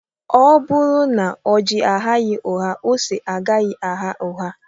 Ọ bụrụ na ọji aghaghị ụgha ose agaghị agha ụgha